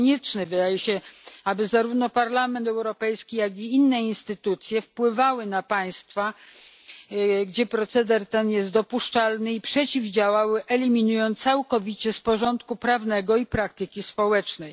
Konieczne wydaje się, aby zarówno Parlament Europejski, jak i inne instytucje wpływały na państwa, gdzie proceder ten jest dopuszczalny, i mu przeciwdziałały, eliminując go całkowicie z porządku prawnego i praktyki społecznej.